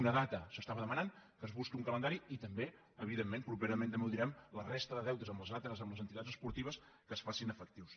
una data s’estava demanant que es busqui un calendari i també evidentment propera·ment també ho direm la resta de deutes amb les al·tres amb les entitats esportives que es facin efectius